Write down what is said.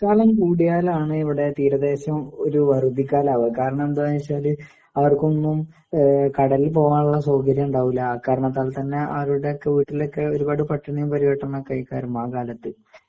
ക്കാലം കൂടിയാലാണ് ഇവടെ തീരദേശം ഒരു വറുതിക്കാലാവുക കാരാണെന്താന്ന്വെച്ചാല് അവർക്കൊന്നും എഹ് കടലിൽ പോകാനുള്ള സൗകര്യണ്ടാവൂല്ല ആക്കാരണത്താൽത്തന്നെ അവരുടെക്കെ വീട്ടിലൊക്കെ ഒരുപാട് പട്ടിണീം പരിവട്ടവുമൊക്കാരുന്നു ആ കാലത്ത്.